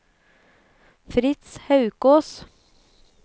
Fritz Haukås